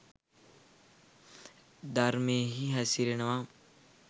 ධර්මයෙහි හැසිරෙනවා